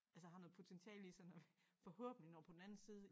Altså har noget potentiale i sig når vi forhåbentlig når på den anden side